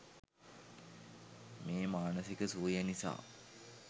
මේ මානසික සුවය නිසා